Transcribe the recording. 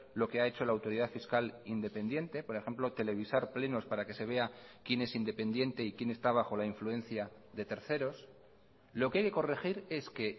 lo que ha hecho la autoridad fiscal independiente por ejemplo televisar plenos para que se vea quién es independiente y quién está bajo la influencia de terceros lo que hay que corregir es que